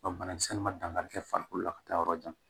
Ɔ banakisɛ nin ma dankari kɛ farikolo la ka taa yɔrɔ jan